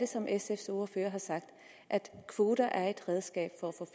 som sfs ordfører har sagt at kvoter er et redskab for